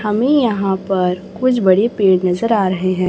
हमें यहां पर कुछ बड़े पेड़ नजर आ रहे हैं।